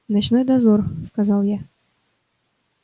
ночной дозор сказал я